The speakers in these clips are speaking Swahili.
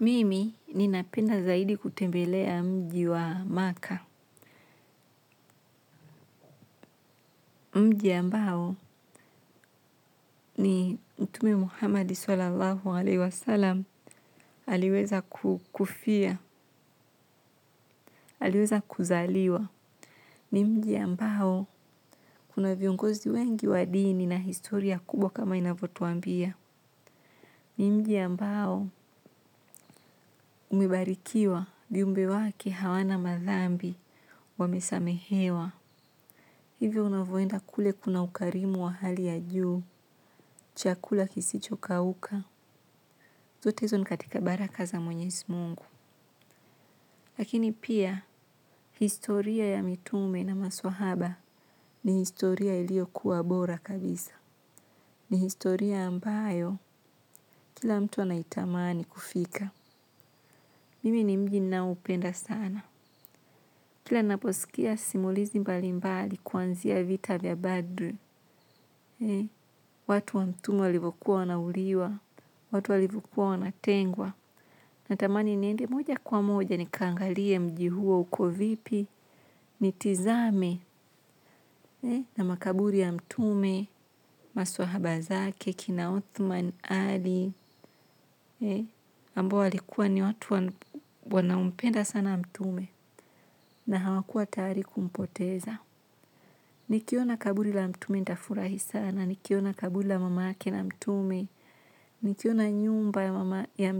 Mimi ni napenda zaidi kutembelea mji wa maka. Mji ambao ni mtume Muhammad sallallahu alayhi wa sallam aliweza kufia, aliweza kuzaliwa. Ni mji ambao kuna viongozi wengi wadi ni na historia kubwa kama inavotuambia. Ni mji ambao umebarikiwa viumbe wake hawana madhambi wamesamehewa. Hivyo unavoenda kule kuna ukarimu wa hali ya juu, chakula kisichokauka, zotezo nikatika baraka za mwenyezi mungu. Lakini pia, historia ya mitume na maswahaba ni historia ilio kuwa bora kabisa. Ni historia ambayo, kila mtu anaitamani kufika. Mimi ni mji ni na upenda sana. Kila naposikia simulizi mbali mbali kuanzia vita vya badu. Watu wa mtume walivoku wanauliwa. Watu walivoku wanatengwa. Na tamani niende moja kwa moja ni kangalie mji huwo uko vipi. Ni tizame na makaburi ya mtume. Maswahabazake kina Othman Ali Ambao walikuwa ni watu wanaompenda sana mtume. Na hawakuwa tayari kumpoteza. Nikiona kaburi la mtume nitafurahi sana. Nikiona kaburi la mamake na mtume nikiona nyumba ya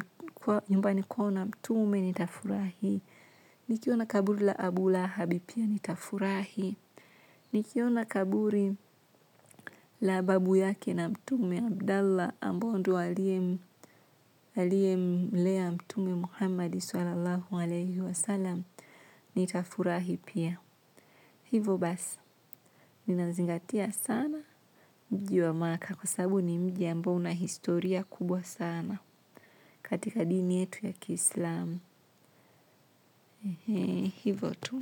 nyumbani kwao na mtume nitafurahi. Nikiona kaburi la abu lahabi pia nitafurahi. Nikiona kaburi la babu yake Mtume, Abdallah, ambaye ndiye aliyemlea Mtume Muhammad (swallallahu alayhi wasallam), nitafurahi pia. Hivyo basi, ninazingatia sana mji wa Makka kwa sababu ni mji ambao una historia kubwa sana. Katika dini yetu ya Kiislamu, hivo tu.